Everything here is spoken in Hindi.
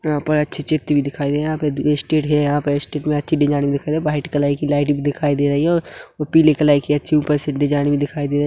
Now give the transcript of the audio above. यहां पर अच्छी चित्र भी दिखाई दे रही है यहां पर इ स्टेज है यहाँ पर इ स्टेज मे अच्छी डिजाइन दिखाई रही है वाइट कलर की लाइट भी दिखाई दे रही है और पीले कलर की एक सिंपल से डिजाइन भी दिखाई दे--